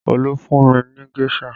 Olu fún mi ní géṣà